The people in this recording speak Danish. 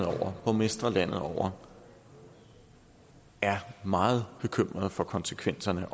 og borgmestre landet over er meget bekymrede for konsekvenserne af